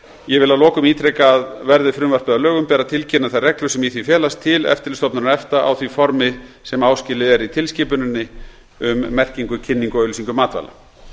ég vil að lokum ítreka að verði frumvarpið að lögum ber að tilkynna þær reglur sem í því felast til eftirlitsstofnunar efta á því formi sem áskilið er í tilskipuninni um merkingu kynningu og auglýsingu matvæla